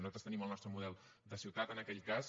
nosaltres tenim el nostre model de ciutat en aquell cas